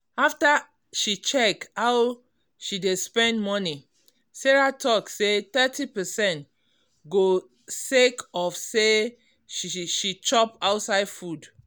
after she check how she dey spend money sarah talk say Thirty percent go sake of say she chop ouside food